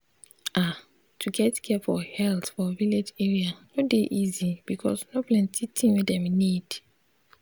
ah to get care for health for village area no dey easy because no plenti thing wey dem need.